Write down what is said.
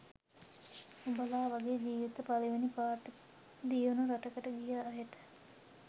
උඹල වගේ ජීවිතේ පලවෙනි පාරට දියුනු රටකට ගිය අයට